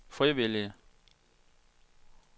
frivillige